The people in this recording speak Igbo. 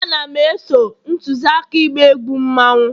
Ana m e-so ntuzi aka ịgba egwu mmanwu